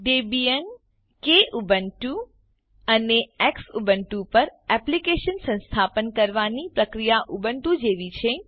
Debian Kubuntu અને Xubuntu પર Eclipse સંસ્થાપન કરવાની પ્રક્રિયા ઉબુન્ટુ જેવી છે